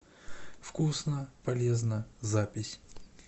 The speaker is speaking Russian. вкусно полезно запись